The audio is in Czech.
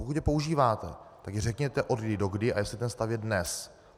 Pokud je používáte, tak řekněte, odkdy dokdy a jestli ten stav je dnes.